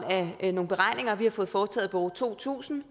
af nogle beregninger vi har fået foretaget hos bureau to tusind